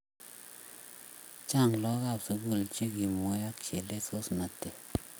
Chang lakoko ab sukul chekimue ak chelesos natet